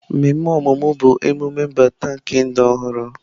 Mmemme ọmụmụ bụ emume mbata nke ndụ ọhụrụ.